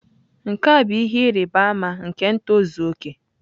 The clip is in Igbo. Nke a bụ ihe ịrịba ama nke ntozu okè.